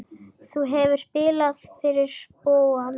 Þú hefur spilað fyrir spóann?